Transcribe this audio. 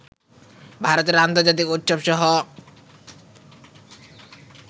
ভারতের আন্তর্জাতিক উৎসবসহ